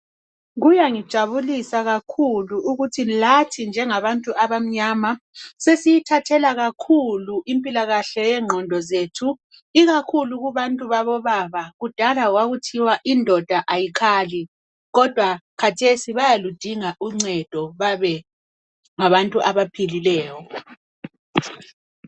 Kuyangithokozisa kakhulu ukuthi lathi njengabantu abamnyama sesiyithathela kakhulu impilakahle yengqondo zethu ikakhulu kubantu babo baba kudala kwakuthiwa indoda ayikhali kodwa khathesi bayaludinga uncedo babe ngabantu abaphilileyo.